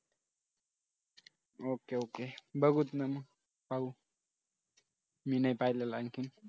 okay okay बघूच ना पाहू मी नाही पाहिलं आणखीन